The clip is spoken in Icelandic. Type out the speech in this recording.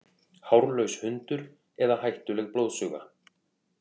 Hárlaus hundur eða hættuleg blóðsuga